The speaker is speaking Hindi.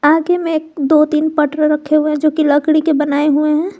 आगे में दो तीन पटरे रखे हुए जो की लकड़ी के बनाये हुए हैं।